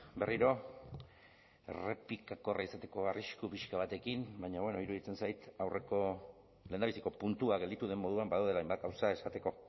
berriro errepikakorra izateko arrisku pixka batekin baina bueno iruditzen zait lehendabiziko puntua gelditu den moduan badaudela hainbat gauza esateko